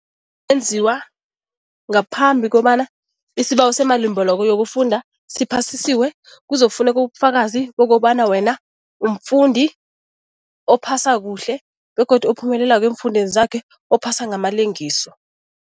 Enziwa ngaphambi kobana isibawo semalimbeleko yokufunda siphasisiwe, kuzokufuneka ubufakazi bokobana wena umfundi ophasa kuhle begodu ophumelelako eemfundweni zakhe, ophasa ngamalengiso.